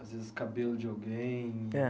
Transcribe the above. Às vezes, cabelo de alguém. É